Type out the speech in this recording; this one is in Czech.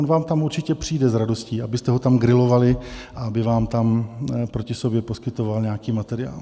On vám tam určitě přijde s radostí, abyste ho tam grilovali a aby vám tam proti sobě poskytoval nějaký materiál.